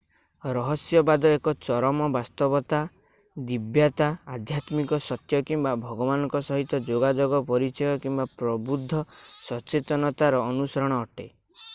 ରହସ୍ୟବାଦ ଏକ ଚରମ ବାସ୍ତବତା ଦିବ୍ୟତା ଆଧ୍ୟାତ୍ମିକ ସତ୍ୟ କିମ୍ବା ଭଗବାନଙ୍କ ସହିତ ଯୋଗାଯୋଗ ପରିଚୟ କିମ୍ବା ପ୍ରବୁଦ୍ଧ ସଚେତନତାର ଅନୁସରଣ ଅଟେ